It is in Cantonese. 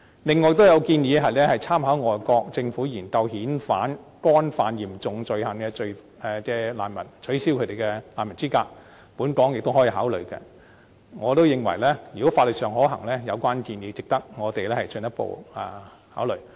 此外，亦有建議參考並研究外國政府遣返干犯嚴重罪行的難民的做法，取消他們的難民資格，本港亦可以考慮這種做法，我亦認為如果法律上可行，有關建議值得我們進一步考慮。